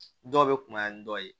Dɔw bɛ kunbaya ni dɔ ye